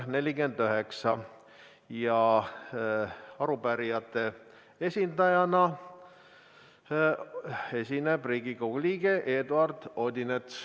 Arupärijate esindajana esineb Riigikogu liige Eduard Odinets.